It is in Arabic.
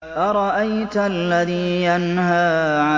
أَرَأَيْتَ الَّذِي يَنْهَىٰ